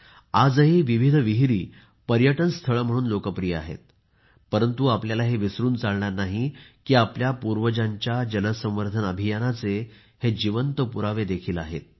आजही विविध विहिरी पर्यटन स्थळ म्हणून लोकप्रिय आहेत परंतु आपल्याला हे विसरून चालणार नाही की आपल्या पूर्वजांच्या जल संवर्धन अभियानाचे हे जिवंत पुरावे देखील आहेत